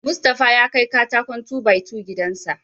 Mustapha ya kai katakon "2-by-2" gidan sa..